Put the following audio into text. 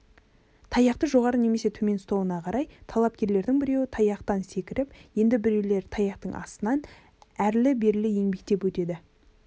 таяқты жоғары немесе төмен ұстауына қарай талапкерлердің біреуі таяқтан секіріп енді біреулері таяқтың астынан әрлі-берлі еңбектеп өтеді